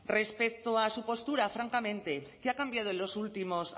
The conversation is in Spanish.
respecto a su postura francamente qué ha cambiado en los últimos